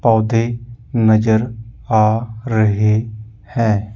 पौधे नजर आ रहे है।